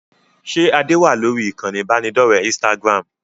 Ṣé Adé wá lórí ìkànnì ibanidọ̀rẹ́ Instagram?